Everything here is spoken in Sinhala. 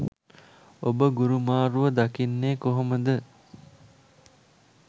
ඔබ ගුරු මාරුව දකින්නේ කොහොම ද?